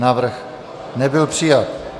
Návrh nebyl přijat.